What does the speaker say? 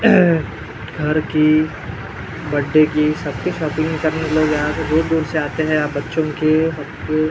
घर की बड्डे की सबकी शॉपिंग करने लोग यहाँ पे दूर दूर से आते हैं यहाँ बच्चों के --